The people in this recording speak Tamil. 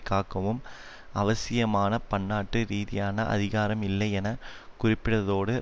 காக்கவும் அவசியமான பண்ணாட்டு ரீதியான அதிகாரம் இல்லை என குறிப்பிடதோடு